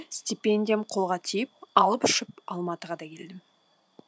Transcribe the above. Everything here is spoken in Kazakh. стипендиям қолға тиіп алып ұшып алматыға да келдім